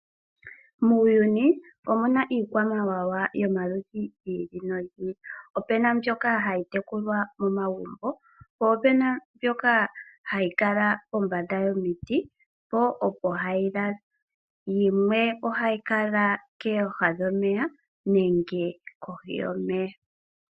Muuyuni omuna iikwamawawa yomaludhi gi ili nogi ili. Opuna mbyoka hayi tekuwa momagumbo po opena mbyoka hayi kala pombanda yomiti po opo hayi lala, yimwe ohayi kala kooha dhomeya nenge kohi yomeya.